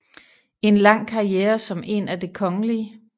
En lang karriere som en af Det kgl